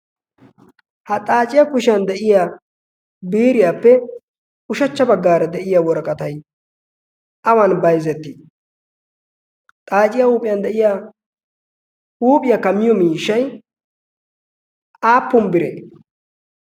ha xaaciya kushiyan de'iya biriyaappe ushachcha baggaara de'iya woraqatay awan bayzzettii xaaciyaa huuphiyan de'iya huuphiyaa kamiyo miishshay aappun bire?